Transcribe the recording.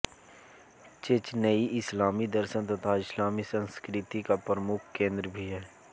Chechnya इस्लामी दर्शन तथा इस्लामी संस्कर्ती का प्रमुख केन्द्र भी है